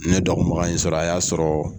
Ne dɔgɔbaga in sɔrɔ, a y'a sɔrɔ